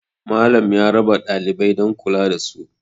Malam ya rabawa ɗalibai don kula da su